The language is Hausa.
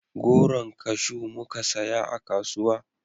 Goron kashu muka saya a kasuwa